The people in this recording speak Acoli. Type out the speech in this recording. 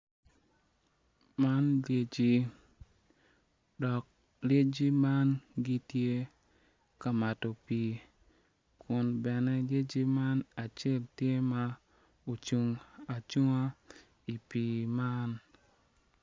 Man lyeci dok lyeci ma gitye kamato pi kun bene lyeci man acel tye ma ocung acunga i pi man.